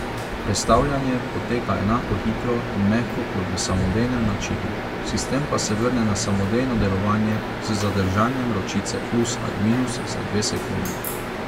Prestavljanje poteka enako hitro in mehko kot v samodejnem načinu, sistem pa se vrne na samodejno delovanje z zadržanjem ročice plus ali minus za dve sekundi.